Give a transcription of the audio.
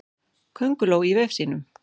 Könguló í vef sínum.